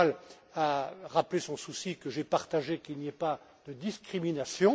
Kamall a rappelé son souci, que je partage, qu'il n'y ait pas de discriminations.